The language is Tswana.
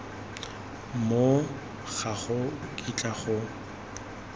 moo ga go kitla go